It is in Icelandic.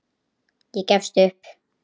Ég gefst upp.